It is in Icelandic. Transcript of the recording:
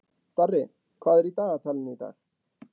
Darri, hvað er í dagatalinu í dag?